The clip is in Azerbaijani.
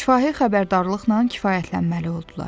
Şifahi xəbərdarlıqla kifayətlənməli oldular.